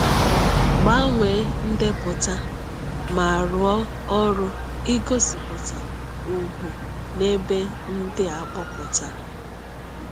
Gbanwee ndepụta, ma rụọ ọrụ n’ịgosipụta ùgwù n’ebe ndi a kpọpụtara.